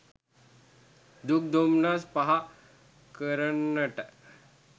දුක් දොම්නස් පහ කරන්නට